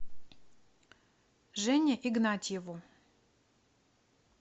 жене игнатьеву